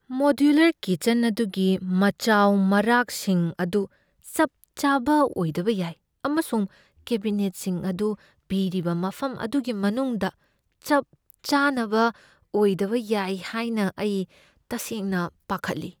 Modular kitchen ꯑꯗꯨꯒꯤ ꯃꯆꯥꯎ ꯃꯔꯥꯛꯁꯤꯡ ꯑꯗꯨ ꯆꯞ ꯆꯥꯕ ꯑꯣꯏꯗꯕ ꯌꯥꯏ, ꯑꯃꯁꯨꯡ ꯀꯦꯕꯤꯅꯦꯠꯁꯤꯡ ꯑꯗꯨ ꯄꯤꯔꯤꯕ ꯃꯐꯝ ꯑꯗꯨꯒꯤ ꯃꯅꯨꯡꯗ ꯆꯞ ꯆꯥꯅꯕ ꯑꯣꯏꯗꯕ ꯌꯥꯏ ꯍꯥꯏꯅ ꯑꯩ ꯇꯁꯦꯡꯅ ꯄꯥꯈꯠꯂꯤ꯫